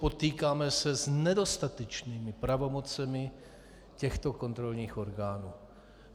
Potýkáme se s nedostatečnými pravomocemi těchto kontrolních orgánů.